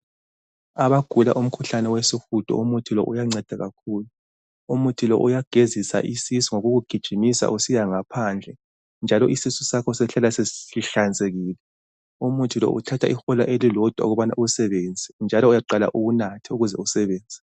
Abagula umkhuhlane wesihudo, umuthi lo, uyanceda kakhulu. Umuthi lo uyagezisa isisu ngokukugijimisa usiyangaphandle njalo isisu sakho sihlala sesihlanzekile. Umuthi lo uthatha ihola elilodwa ukubana uwusebenze njalo uyaqala uwunathe ukuze usebenze.